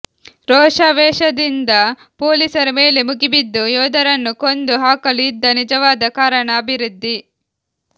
ರೋಷಾವೇಶದಿಂದ ಪೊಲೀಸರ ಮೇಲೆ ಮುಗಿಬಿದ್ದು ಯೋಧರನ್ನು ಕೊಂದು ಹಾಕಲು ಇದ್ದ ನಿಜವಾದ ಕಾರಣ ಅಭಿವೃದ್ಧಿ